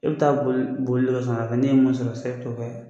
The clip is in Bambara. E bɛ taa boli boli dɔ san ka kɛ n'e ye mun sɔrɔ sisan i bɛ t'o kɛ